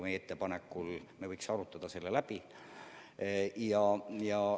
Meie ettepanek on, et me võiksime selle läbi arutada.